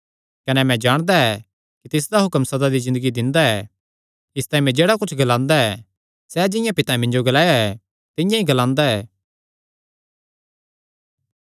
कने मैं जाणदा ऐ कि तिसदा हुक्म सदा दी ज़िन्दगी दिंदा ऐ इसतांई मैं जेह्ड़ा कुच्छ ग्लांदा ऐ सैह़ जिंआं पितैं मिन्जो नैं ग्लाया ऐ तिंआं ई ग्लांदा ऐ